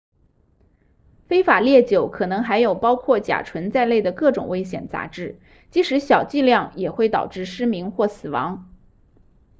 非法烈酒可能含有包括甲醇在内的各种危险杂质即使小剂量也会导致失明或死亡